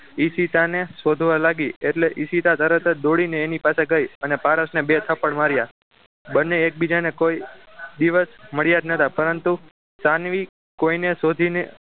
ઈશિતાને શોધવા લાગી એટલે ઈશિતા તરત જે દોડીને એની પાસે ગઈ અને પારસને બે થપ્પડ માર્યા બંને એકબીજાને કોઈ દિવસ મળ્યા જ નહતા પરંતુ સાનવી કોઈને શોધીને